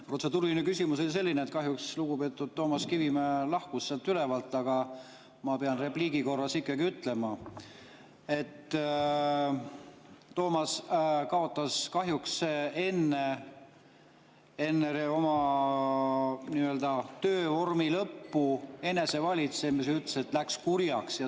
Protseduuriline küsimus on selline, et lugupeetud Toomas Kivimägi lahkus sealt ülevalt, aga ma pean repliigi korras ikkagi ütlema, et Toomas kaotas enne oma nii-öelda töövormi lõppu kahjuks enesevalitsemise, ta ütles, et läks kurjaks.